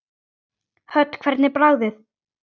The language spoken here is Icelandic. Hödd: Hvernig er bragðið?